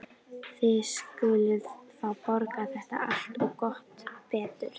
Þið skuluð fá að borga þetta allt. og gott betur!